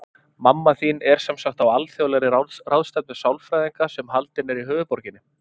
Mamma þín er sem sagt á alþjóðlegri ráðstefnu sálfræðinga, sem haldin er í höfuðborginni.